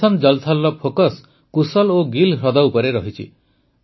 mission Jal ଥଲ୍ର focus Kushal ଓ ଗିଲ୍ ହ୍ରଦ ଉପରେ ରହିଛି